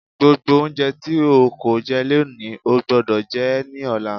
Gbogbo oúnjẹ tí o kò jẹ lónìí, o gbúdọ̀ jẹ ẹ́ ní ọ̀la.